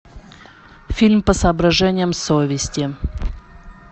фильм по соображениям совести